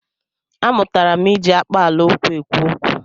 A mụtala m iji akpaala okwu ekwu okwu.